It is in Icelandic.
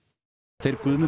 þeir Guðmundur